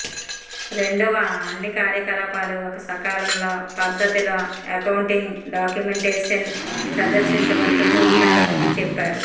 రెండవ అన్ని కార్యకలాపాలు ఒక సకాలంలో పద్ధతిలో అకౌంటింగ్ డాక్యుమెంటేషన్ ప్రదర్శించబడుతుంది ఉండాలని చెప్పారు